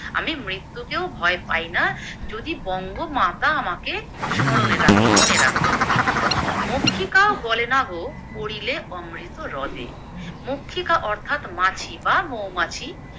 আমি মৃত্যুকেও ভয় পাইনা যদি বঙ্গমাতা আমাকে স্মরণে রাখে মনে রাখে, মক্ষিকাও গলে না গো পড়িলে অমৃত হ্রদে, মক্ষিকা অর্থাৎ মাছি বা মৌমাছি